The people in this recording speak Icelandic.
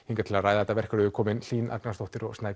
hingað til að ræða þetta verk eru komin Hlín Agnarsdóttir og